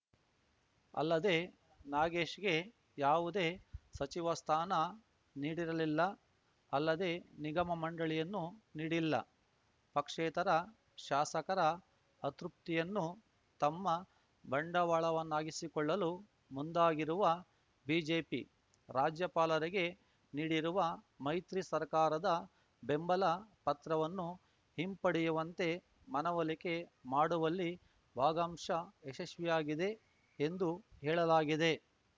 ಅಲ್ಲದೇ ನಾಗೇಶ್‌ಗೆ ಯಾವುದೇ ಸಚಿವ ಸ್ಥಾನ ನೀಡಿರಲಿಲ್ಲ ಅಲ್ಲದೇ ನಿಗಮಮಂಡಳಿಯನ್ನೂ ನೀಡಿಲ್ಲ ಪಕ್ಷೇತರ ಶಾಸಕರ ಅತೃಪ್ತಿಯನ್ನು ತಮ್ಮ ಬಂಡವಾಳವನ್ನಾಗಿಸಿಕೊಳ್ಳಲು ಮುಂದಾಗಿರುವ ಬಿಜೆಪಿ ರಾಜ್ಯಪಾಲರಿಗೆ ನೀಡಿರುವ ಮೈತ್ರಿ ಸರ್ಕಾರದ ಬೆಂಬಲ ಪತ್ರವನ್ನು ಹಿಂಪಡೆಯುವಂತೆ ಮನವೊಲಿಕೆ ಮಾಡುವಲ್ಲಿ ಭಾಗಂಶ ಯಶಸ್ವಿಯಾಗಿದೆ ಎಂದು ಹೇಳಲಾಗಿದೆ